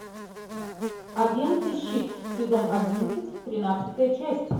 агенты щит сезон одиннадцать тринадцатая часть